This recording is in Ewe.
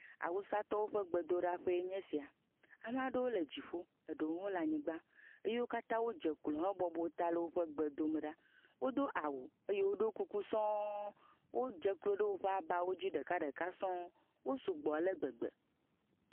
Awusatɔwo ƒe gbedoɖaƒee nye esia. Ame aɖewole dziƒo, eɖewo hã le anyigba. Wo katã wodze klo hebɔbɔ ta le woƒe gbe dom ɖa. wodo awu eye woɖo kuku sɔŋ. Wodze klo ɖe woƒe abawo dzi ɖekaɖeka sɔŋ. Wosugbɔ ale gbegbe.